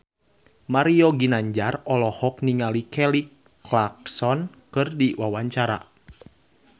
Mario Ginanjar olohok ningali Kelly Clarkson keur diwawancara